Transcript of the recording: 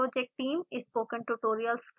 spoken tutorial project team: